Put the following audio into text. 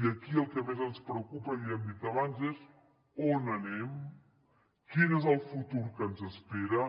i aquí el que més ens preocupa i l’hi hem dit abans és on anem quin és el futur que ens espera